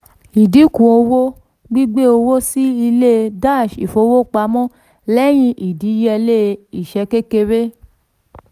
ìdínkù owó gbigbẹ owó sí ilé dash ìfowópamọ́ lẹ́yìn ìdíyẹlé ìṣẹ́ kékeré.